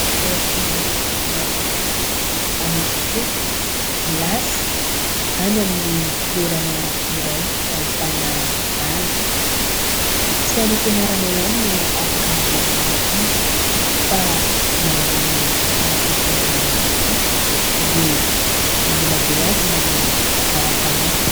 Ireo ankizy maromaro manao skoto milasy any amin'ny toerana iray ahitana ala. Tsy any am-pianarana ihany no afaka hanabeazana ny ankizy fa na amin'ny lafiny fiangonana ihany koa dia mila beazina ny ara-panahy.